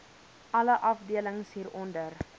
alle afdelings hieronder